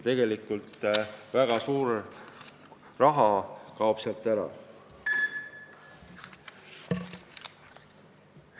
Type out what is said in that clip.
Nii kaob väga suur raha ära.